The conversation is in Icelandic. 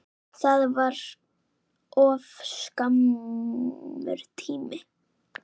Það var of skammur tími.